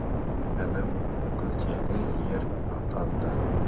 інім күлтегін ер атанды